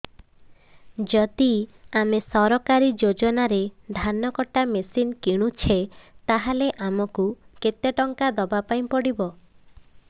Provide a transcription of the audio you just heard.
ଯଦି ଆମେ ସରକାରୀ ଯୋଜନାରେ ଧାନ କଟା ମେସିନ୍ କିଣୁଛେ ତାହାଲେ ଆମକୁ କେତେ ଟଙ୍କା ଦବାପାଇଁ ପଡିବ